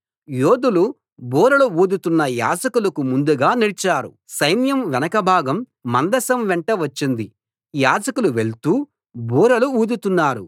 యోధులు బూరలు ఊదుతున్న యాజకులకు ముందుగా నడిచారు సైన్యం వెనక భాగం మందసం వెంట వచ్చింది యాజకులు వెళ్తూ బూరలు ఊదుతున్నారు